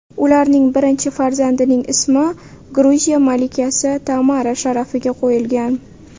Ularning birinchi farzandining ismi Gruziya malikasi Tamara sharafiga qo‘yilgan.